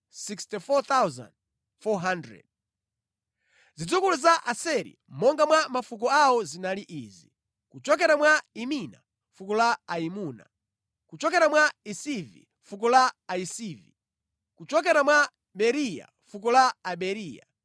Zidzukulu za Aseri monga mwa mafuko awo zinali izi: kuchokera mwa Imina, fuko la Aimuna; kuchokera mwa Isivi, fuko la Ayisivi; kuchokera mwa Beriya, fuko la Aberiya;